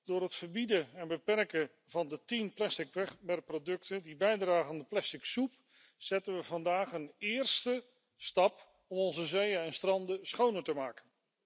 Door het verbieden en beperken van de tien plastic wegwerpproducten die bijdragen aan de plastic soep zetten we vandaag een eerste stap om onze zeeën en stranden schoner te maken.